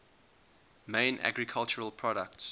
main agricultural products